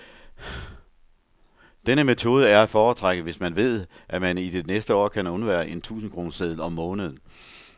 Denne metode er at foretrække, hvis man ved, at man i det næste år kan undvære en tusindkroneseddel om måneden.